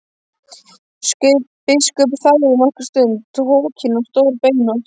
Biskup þagði nokkra stund, hokinn og stórbeinóttur.